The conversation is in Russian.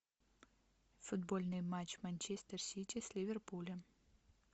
футбольный матч манчестер сити с ливерпулем